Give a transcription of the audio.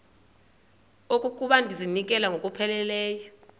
okokuba ndizinikele ngokupheleleyo